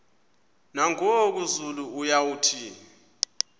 nangoku zulu uauthi